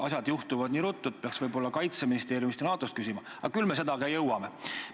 Asjad juhtuvad nii ruttu, et võib-olla peaks Kaitseministeeriumi ja NATO kohta küsima, aga küll me ka seda jõuame.